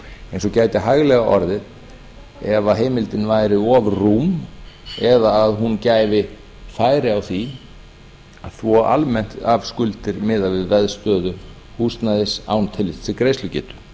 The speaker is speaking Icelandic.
eins og gæti hæglega orðið ef heimildin væri of rúm eða að hún gæfi færi á því og svo almennt að skuldir miðað við veðstöðu húsnæðis án tillits til greiðslugetu